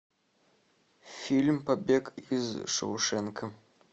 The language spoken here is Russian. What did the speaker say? фильм побег из шоушенка